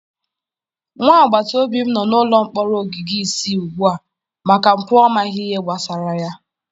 Nwa agbataobi m nọ n'ụlọ mkpọrọ ogige isii ugbu a maka mpụ ọ maghị ihe gbasara ya.